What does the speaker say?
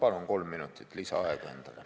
Ma palun kolm minutit lisaaega endale.